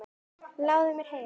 Ljáðu mér eyra.